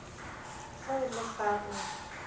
ge o le fa o